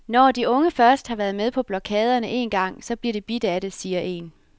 Når de unge først har været med på blokaderne en gang, så bliver de bidt af det, siger en.